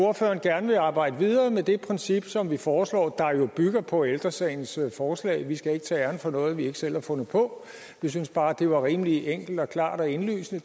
at ordføreren gerne vil arbejde videre med det princip som vi foreslår og som jo bygger på ældre sagens forslag vi skal ikke tage æren for noget vi ikke selv har fundet på vi synes bare det forslag var rimelig enkelt og klart og indlysende